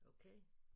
Okay